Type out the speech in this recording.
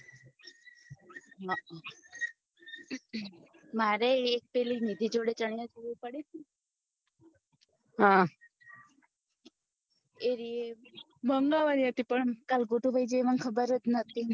હ મારે એક પિલે નિધિ જોડે ચણીયાચોલી પડીતી ને હમ એ રી એ મંગાવાની હતી પણ કાલે ગોતું ગયા એ મને ખબર જ નતી